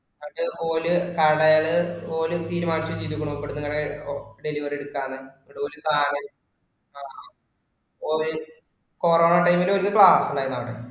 എന്നിട്ടു ഓര് കടേല് ഓര് തീരുമാനിച്ചു വെച്ചേക്കണു ഇവിടുന്നു ഇങ്ങനെ delivery എടുക്കാന്ന്. corona time ഇല് വലിയ class ഉണ്ടായിരുന്നു അവിടെ